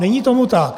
Není tomu tak.